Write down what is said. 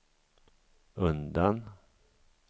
undan